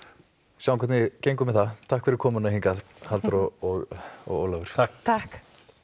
sjáum hvernig gengur með það takk fyrir komuna hingað Halldóra og og Ólafur takk takk